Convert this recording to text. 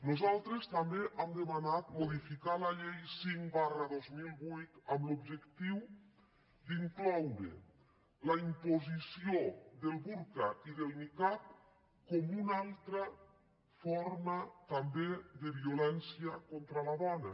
nosaltres també hem demanat modificar la llei cinc dos mil vuit amb l’objectiu d’incloure la imposició del burca i del nicab com una altra forma també de violència contra la dona